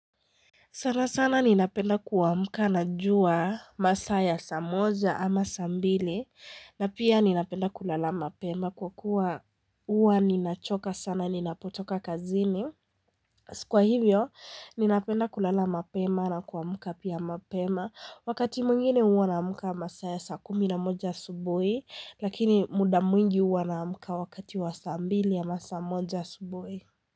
Sana sana ninapenda kuamuka najua masaa ya saa moja ama saa mbili na pia ninapenda kulala mapema kwa kuwa huwa ninachoka sana ninapotoka kazini. Kwa hivyo ninapenda kulala mapema na kuamuka pia mapema wakati mwingine huwa naamka masaa ya saa kumi na moja asubuhi lakini muda mwingi huwa naamka wakati wa saa mbili ama saa moja asubuhi.